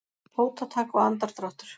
Fótatak og andardráttur.